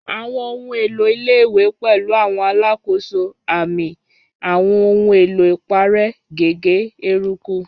Àwọn ohun èlò ilé-ìwé pẹ̀lú àwọn alákòóso, àmì, àwọn ohun èlò ìparẹ́, gègé, eruku.